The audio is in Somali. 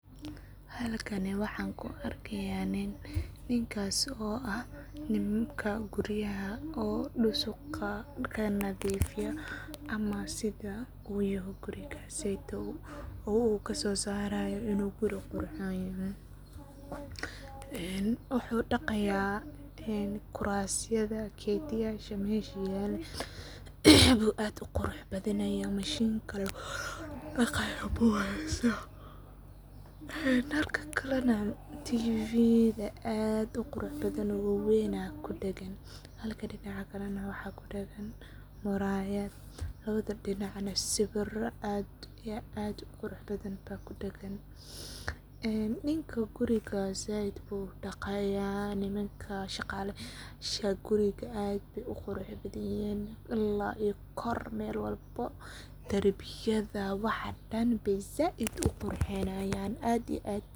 Halkani waxaan kuu argaya nin ninkas oo ah nimanka guuriyaha diso oo dusoqa kaa nadafiyo ama sidaa oo yayoh guurikasiydo oo ka sosarayohn inuu guuri quruxhon yaho. san wuxuu wuxu daqaya guurasyada katiyasha. masha yalan oo aad u quruxbadanyo machine . taa laa kuu daqayoh danka kalanah tivida aad oo quruxdabadan oo waan aya ku dagan halka dinac kale waxaa ku dagan murayad lawada dinac Kahn siwiro aad iyo aad oo qurubadan baa ku dagan aa ninko guurikasi saaid buu uu daqayo nimanka Shalala guurika aad baay uu qurubadayihin ilaa iyo koor mal walbo darbiyada waxaa daan saaid oo quruxiyan aad iyo aad.